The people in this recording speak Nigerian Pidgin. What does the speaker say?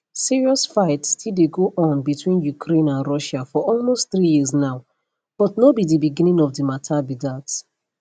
serious fight still dey go on between ukraine and russia for almost three years now but no be di beginning of di mata be dat